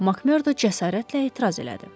Makmerdo cəsarətlə etiraz elədi.